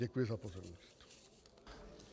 Děkuji za pozornost.